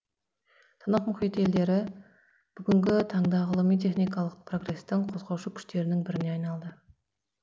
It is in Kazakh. тынық мұхит елдері бүгінгі таңда ғылыми техникалық прогрестің қозғаушы күштерінің біріне айналды